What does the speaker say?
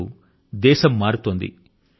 ఇప్పుడు దేశం మారుతోంది